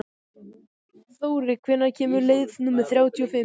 Þóri, hvenær kemur leið númer þrjátíu og fimm?